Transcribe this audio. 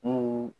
N'o